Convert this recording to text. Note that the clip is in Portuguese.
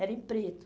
Era em preto.